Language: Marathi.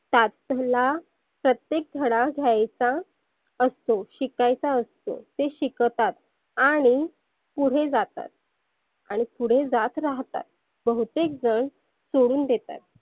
कातला प्रत्येक धडा घ्यायचा असतो, शिकायचा असतोते शिकतात. आणि पुढे जातात. आणि पुढे जात राहतात. बहुतेक जन सोडुन देतात.